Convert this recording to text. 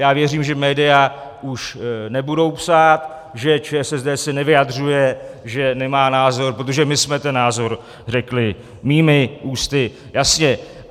Já věřím, že média už nebudou psát, že ČSSD se nevyjadřuje, že nemá názor, protože my jsme ten názor řekli mými ústy jasně.